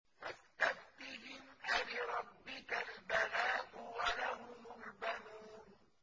فَاسْتَفْتِهِمْ أَلِرَبِّكَ الْبَنَاتُ وَلَهُمُ الْبَنُونَ